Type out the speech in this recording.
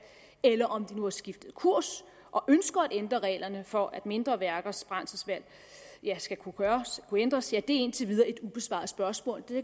eller om de nu har skiftet kurs og ønsker at ændre reglerne for at mindre værkers brændselsvalg skal kunne ændres er indtil videre et ubesvaret spørgsmål det